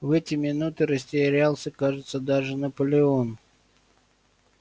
в эти минуты растерялся кажется даже наполеон